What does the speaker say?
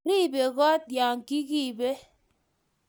ribe koot ya kikibe